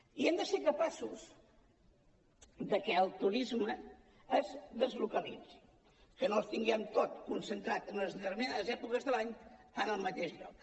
i hem de ser capaços que el turisme es deslocalitzi que no el tinguem tot concentrat en unes determinades èpoques de l’any en el mateix lloc